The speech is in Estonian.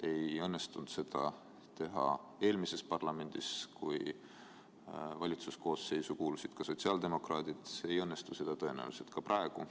Ei õnnestunud seda teha eelmises parlamendis, kui valitsuse koosseisu kuulusid ka sotsiaaldemokraadid, ei õnnestu see tõenäoliselt ka praegu.